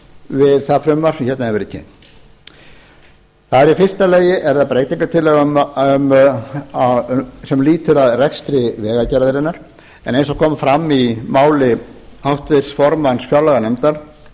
það frumvarp sem hérna hefur verið kynnt þar er í fyrsta lagi breytingartillaga sem lýtur að rekstri vegagerðarinnar en eins og kom fram í máli háttvirts formanns fjárlaganefndar